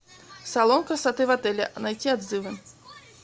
салон красоты в отеле найти отзывы